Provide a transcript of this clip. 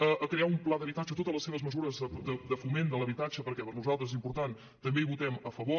a crear un pla d’habitatge totes les seves mesures de foment de l’habitatge perquè per nosaltres és important també hi votem a favor